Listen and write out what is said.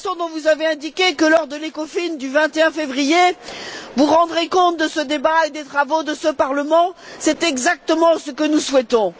Vous avez indiqué que, lors de l'ECOFIN du 21 février, vous rendrez compte de ce débat et des travaux de ce Parlement. C'est exactement ce que nous souhaitons.